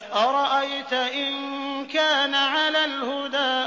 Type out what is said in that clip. أَرَأَيْتَ إِن كَانَ عَلَى الْهُدَىٰ